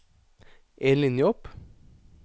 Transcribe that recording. En linje opp